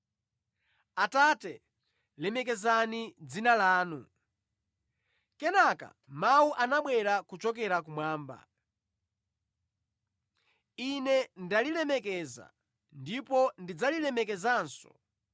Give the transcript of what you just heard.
Atate, lemekezani dzina lanu!” Kenaka mawu anabwera kuchokera kumwamba, “Ine ndalilemekeza, ndipo ndidzalilemekezanso.”